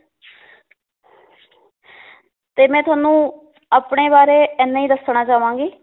ਤੇ ਮੈ ਤੁਹਾਨੂੰ ਆਪਣੇ ਬਾਰੇ ਇੰਨਾ ਈ ਦੱਸਣਾ ਚਾਵਾਂਗੀ